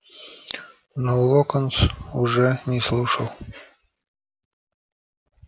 но локонс уже не слушал